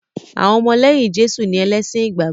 Àwọn ọmọlẹ́yìn Jésù ni ẹlẹ́sìn ìgbàgbọ́